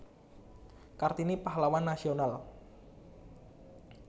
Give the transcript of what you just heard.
Kartini Pahlawan Nasional